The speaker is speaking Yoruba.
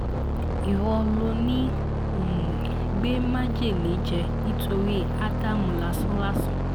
ìwọ ló ń um gbé májèlé jẹ nítorí ádám lásánlàsàn